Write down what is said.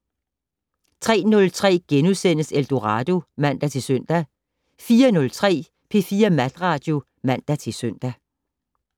03:03: Eldorado *(man-søn) 04:03: P4 Natradio (man-søn)